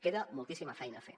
queda moltíssima feina a fer